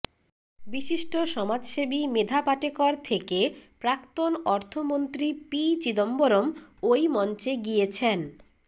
বিশিষ্ট সমাজসেবী মেধা পাটেকর থেকে প্রাক্তন অর্থমন্ত্রী পি চিদম্বরম ওই মঞ্চে গিয়েছেন